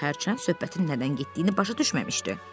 Pux hələ söhbətin nədən getdiyini başa düşməmişdi.